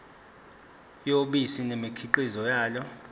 yobisi nemikhiqizo yalo